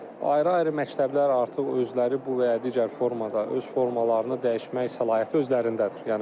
Amma ayrı-ayrı məktəblər artıq özləri bu və ya digər formada öz formalarını dəyişmək səlahiyyəti özlərindədir.